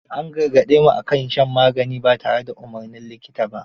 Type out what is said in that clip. An gargaɗe mu a kan shan magani ba tare da umarnin likita ba.